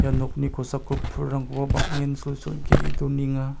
nokni kosako pulrangkoba bang·en sulsul ge·e donenga.